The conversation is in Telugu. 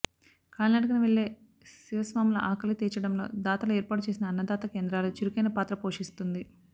కాలినడకన వెళ్లే శివస్వాముల ఆకలి తీర్చడంలో దాతలు ఏర్పాటు చేసిన అన్నదాన కేంద్రాలు చురుకైన పాత్ర పోషిస్తుంది